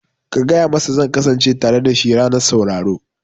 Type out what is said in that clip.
Ka gaya masa zan kasance tare dashi a ranar sauraro